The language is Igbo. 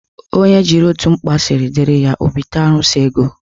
Onye jiri otu mkpa siri diri ya, o bite arụsị ego.